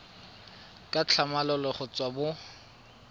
ka tlhamalalo go tswa mo